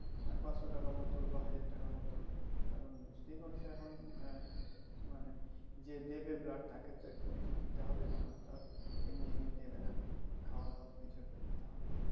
পাঁচশো টাকা বোতল বা হাজার টাকা বোতল কারণ বুঝতেই পারছো এখন আহ মানে যে দেবে blood তাকে তো একটু কিছু দিতে হবে নাহলে তো আর এমনি এমনি দিবেনা আর খাওয়া দাওয়া তো কিছু একটা দিতে হবে